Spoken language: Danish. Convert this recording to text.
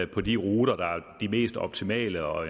på de ruter der er de mest optimale og